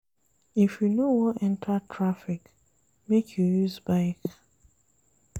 If you no wan enta traffic, make you use bike.